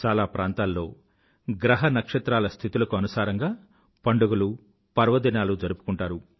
చాలా ప్రాంతాల్లో గ్రహ నక్షత్రాల స్థితులకు అనుసారంగా పండుగలు పర్వదినాలు జరుపుకుంటారు